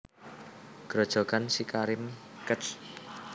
Grojogan SiKarim Kec